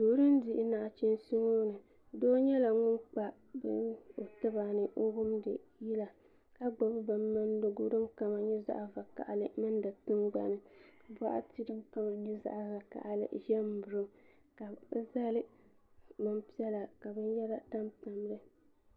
duu din dihi nachiinsi n bɔŋɔ doo nyɛla ŋun kpa bini o tiba ni ka wumdi yila ka gbubi bin mindigu din kama nyɛ zaɣ vakaɣali n mindi tingbani boɣati din kama nyɛ zaɣ vakaɣali ʒɛmi n miri o ka bi zali bin piɛla ka binyɛra tam n miri o